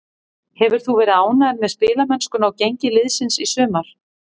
Hefur þú verið ánægður með spilamennskuna og gengi liðsins í sumar?